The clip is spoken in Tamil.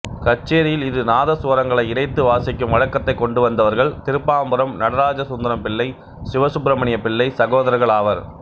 கச்சேரியில் இரு நாதசுவரங்களை இணைந்து வாசிக்கும் வழக்கத்தைக் கொண்டுவந்தவர்கள் திருப்பாம்புரம் நடராஜசுந்தரம் பிள்ளை சிவசுப்பிரமணிய பிள்ளை சகோதரர்கள் ஆவர்